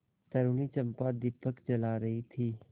तरूणी चंपा दीपक जला रही थी